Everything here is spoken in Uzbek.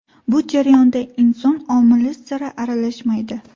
Bu jarayonda inson omili sira aralashmaydi.